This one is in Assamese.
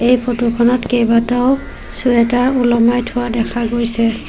এই ফটো খনত কেইবাটাও ছুৱেটাৰ ওলমাই থোৱা দেখা গৈছে।